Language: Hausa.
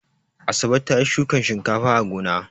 Asabe ta yi shukan shinkafa a gona.